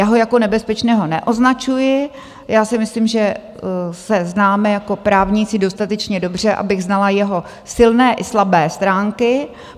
Já ho jako nebezpečného neoznačuji, já si myslím, že se známe jako právníci dostatečně dobře, abych znala jeho silné i slabé stránky.